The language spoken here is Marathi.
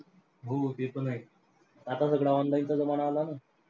हो ते पण आहेच. आता सगळं online चा जमाना आला ना.